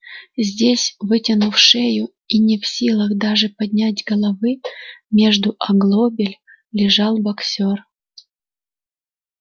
здесь вытянув шею и не в силах даже поднять головы между оглобель лежал боксёр